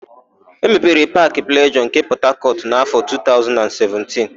E mepere Paakị Plejọọ nke Pọtakọtụ n'áfọ̀ 2017.